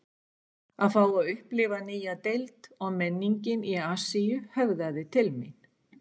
Að fá að upplifa nýja deild og menningin í Asíu höfðaði til mín